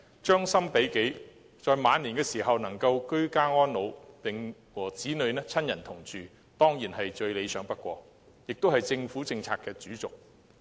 將心比己，在晚年能夠居家安老，與子女親人同住，當然最理想不過，這亦是政府政策的主軸。